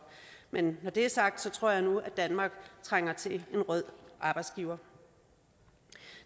men når det er sagt tror jeg nu at danmark trænger til en rød arbejdsgiver